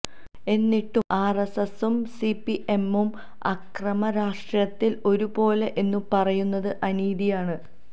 എന്നിട്ടും ആര്എസ്എസും സിപിഎമ്മും അക്രമ രാഷ്ട്രീയത്തില് ഒരുപോലെ എന്നു പറയുന്നത് അനീതിയാണ്